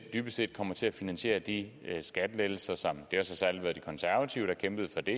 dybest set kommer til at finansiere de skattelettelser det har så særlig været de konservative der kæmpede for det